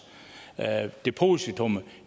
depositummet